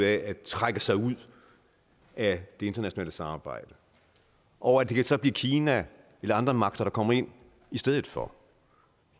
af at trække sig ud af det internationale samarbejde og at det så kan blive kina eller andre magter der kommer ind i stedet for